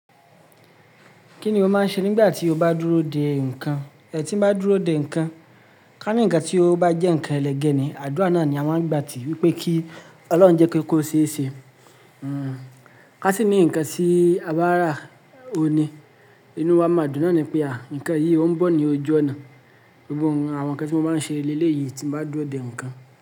Kí ni o máa ń ṣe nígbà tí o bá dúró dè nǹkan? Tí n bá dúró dè nǹkan, ká ní ǹkan tí ó bá jẹ́ ǹkan ẹlẹgẹ́ ni, àdúrà náà ni a máa gbà tí wípé kí Ọlọ́run jẹ́ kó kó ṣeé ṣe. Ká sì ní ǹkan tí a bá rà óun ni, inú wa máa dùn náà ni pé àwọn ǹkan yìí ó ń bọ̀ ní ojú ọ̀nà. Gbogbo àwọn ǹkan tí mo máa ń ṣe ní eléyìí tí mo bá dúró dè ǹkan.